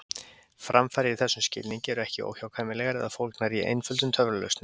Framfarir í þessum skilningi eru ekki óhjákvæmilegar eða fólgnar í einföldum töfralausnum.